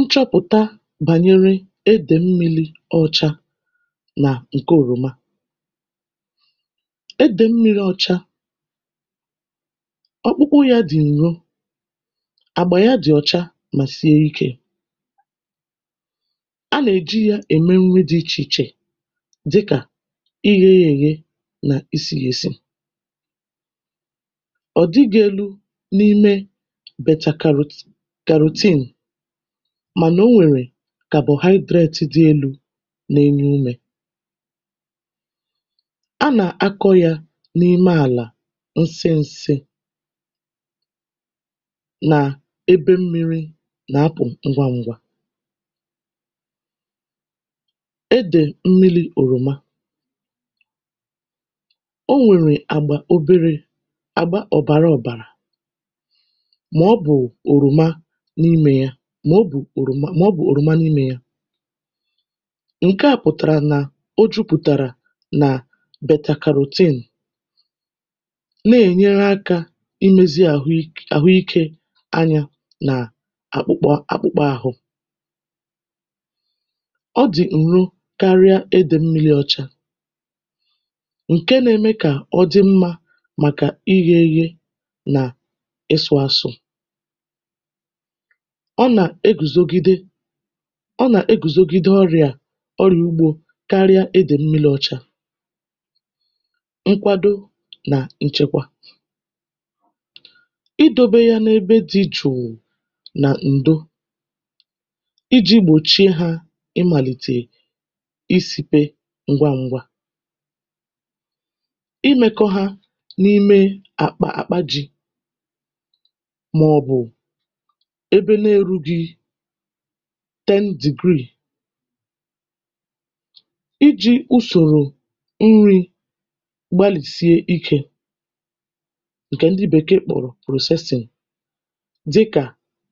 Nchọpụ̀ta bànyere edè mmili ọcha nà ǹke òròma edè mmīri ọcha ọkpụkpụ yā dị̀ ǹro àgbà ya dị̀ ọ̀cha mà sie ikē anà-èji yā ème nri dị ichè ichè dịkà ighe ya èghe nà isī ya esi ọ̀ dịgị̄ elu n’ime beta karot kàròtin mànà o nwèrè carbohydrate dị elū na-enye umē anà-akọ̄ yā n’ime àlà oseèse nà ebe mmīri nà-apụ̀ ngwangwa edè mmilī òròma o nwèrè àgbà oberē àgba ọ̀bàra ọ̀bàrà mà ọ bụ̀ òròma n’imē ya mà ọ bụ̀ òròmà mà ọ bụ̀ òròma n’imē ya ǹke à pụ̀tàrà nà o jupụ̀tàrà nà betakarotene n’ènyere akā imēzi àhụik àhụikē anya nà akpụkpọ akpụkpọahụ ọ dị̀ ǹro karịa edè mmīli ọcha ǹke na-eme kà ọ dị mmā màkà ighē eghe nà ịsụ̄ asụ ọ nà-egùzogide ọ nà-egùzogide ọrị̀à ọrị̀à ugbō karịa edè mmīli ọcha nkwado nà nchekwa idōbe ya n’ebe dị̄ jụ̀ụ̀ nà ǹdo ijī gbòchie hā ịmàlìtè isīpe ngwangwa imēkọ ha n’ime àkpà àkpa jī mà ọ̀ bụ̀ ebe na-erugī ten degree ijī usòrò nrī gbalìsie ikē ǹkè ndị bèkeè kpọ̀rọ̀ processing dịkà